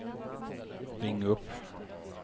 ring upp